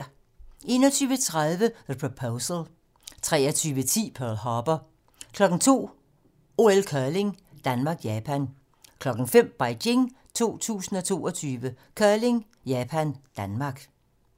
21:30: The Proposal 23:10: Pearl Harbor 02:00: OL: Curling - Japan-Danmark 05:00: Beijing 2022: Curling: Japan - Danmark